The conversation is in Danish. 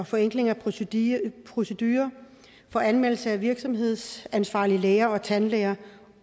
forenkling af proceduren proceduren for anmeldelse af virksomhedsansvarlige læger og tandlæger